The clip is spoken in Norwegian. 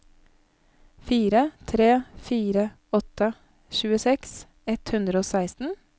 fire tre fire åtte tjueseks ett hundre og seksten